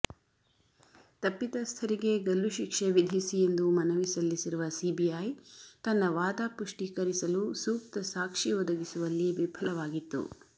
ತಪ್ಪಿತಸ್ಥರಿಗೆ ಗಲ್ಲುಶಿಕ್ಷೆ ವಿಧಿಸಿ ಎಂದು ಮನವಿ ಸಲ್ಲಿಸಿರುವ ಸಿಬಿಐ ತನ್ನ ವಾದ ಪುಷ್ಟಿಕರಿಸಲು ಸೂಕ್ತ ಸಾಕ್ಷಿ ಒದಗಿಸುವಲ್ಲಿ ವಿಫಲವಾಗಿತ್ತು